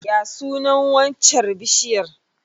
Ya sunan waccar bishiyar?